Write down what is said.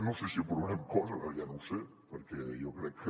no sé si aprovarem coses ara ja no ho sé perquè jo crec que